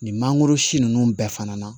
Nin mangoro si ninnu bɛɛ fana na